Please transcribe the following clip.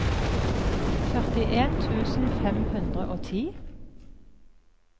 førtien tusen fem hundre og ti